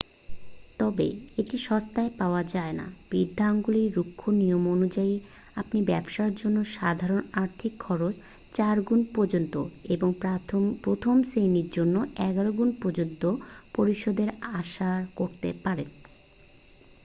তবে এটি সস্তায় পাওয়া যায় নাঃ বৃদ্ধাঙ্গুলির রুক্ষ নিয়ম অনুযায়ী আপনি ব্যাবসার জন্য সাধারন আর্থিক খরচ 4 গুন পর্যন্ত এবং প্রথম শ্রেণীর জন্য এগারো গুণ পর্যন্ত পরিশোধ আশা করতে পারেন